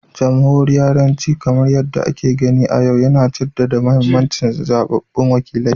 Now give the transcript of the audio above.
Jamhuriyariyanci, kamar yadda ake gani a yau, yana jaddada mahimmancin zaɓaɓɓun wakilai